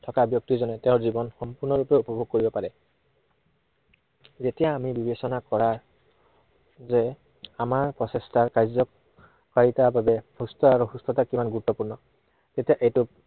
থকা ব্য়ক্তিজনে তেওঁৰ জীৱন সম্পূৰ্ণৰূপে উপভোগ কৰিব পাৰে। যেতিয়া আমি বিবেচনা কৰা যে আমাৰ প্ৰচেষ্টাৰ কাৰ্যকাৰিতাৰ বাবে সুস্থ আৰু সুস্থতা কিমন গুৰুত্বপূৰ্ণ, তেতিয়া এইটো